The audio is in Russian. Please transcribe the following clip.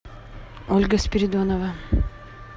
ольга спиридонова